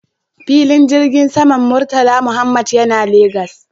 Filin jirgin saman Murtala Muhammad yana Legas